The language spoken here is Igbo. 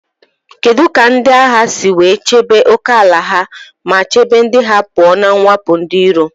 Kedu ka ndị agha si chebe ókèala ha ma chebe ndị ha pụọ na mwakpo ndị iro?